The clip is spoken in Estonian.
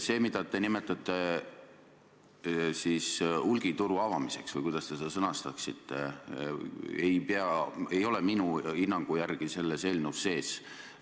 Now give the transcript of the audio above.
See, mida te nimetate hulgituru avamiseks või kuidas te selle sõnastasitegi, ei ole minu hinnangul selles eelnõus sees.